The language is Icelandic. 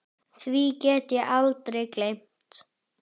Því get ég aldrei gleymt.